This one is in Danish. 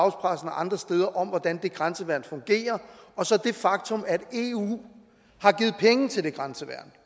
og andre steder om hvordan det grænseværn fungerer og så det faktum at eu har givet penge til det grænseværn